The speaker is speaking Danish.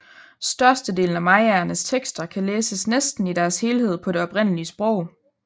Størstedelen af mayaernes tekster kan læses næsten i deres helhed på det oprindelige sprog